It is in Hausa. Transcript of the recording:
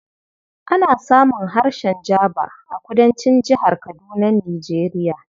Ana samun harshen Jaba a Kudancin Jihar Kadunar Nijeriya